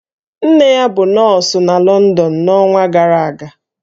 Nne ya bụ nọọsụ na London n'ọnwa gara aga